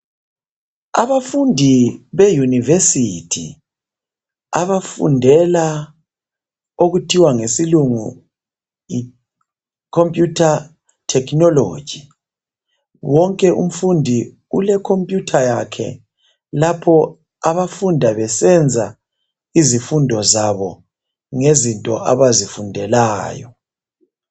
Abafundi beUniversity abafundela okuthiwa ngesilungu yicompeter technology. Wonke umfundi ule computer yakhe. Lapho abafunda besenza izifundo zabo ngezinto abazifundelayo.